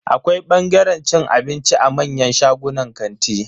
Akwai bangaren cin abinci a manyan shagunan kanti.